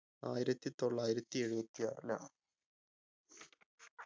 ആയിരത്തി തൊള്ളായിരത്തി എഴുപത്തി ആറിലാണ്